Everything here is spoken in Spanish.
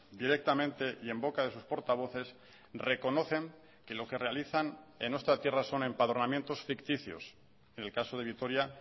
directamente y en boca de sus portavoces reconocen que lo que realizan en nuestra tierra son empadronamientos ficticios en el caso de vitoria